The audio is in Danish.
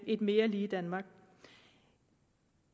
et mere lige danmark